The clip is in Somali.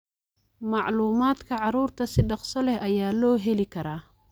Macluumaadka carruurta si dhakhso leh ayaa loo heli karaa.